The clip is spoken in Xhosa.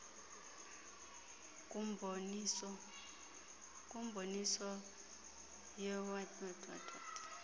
kumboniso owaye waqhutyelwa